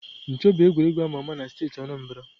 Ncho bụ egwuregwu ama ama na steeti Anambra.